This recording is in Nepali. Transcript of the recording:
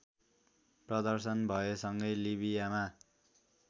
प्रदर्शन भएसँगै लिबियामा